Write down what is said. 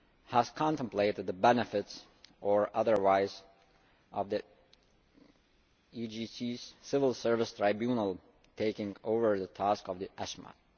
has contemplated the benefits or otherwise of the ECJ's Civil Service Tribunal taking over the tasks of the ESMAT.